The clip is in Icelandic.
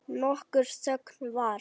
Nokkur þögn varð.